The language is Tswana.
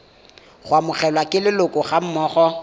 go amogelwa ke leloko gammogo